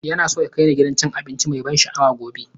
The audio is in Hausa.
Yana so ya kai ni gidan cin abinci mai ban sha'awa gobe.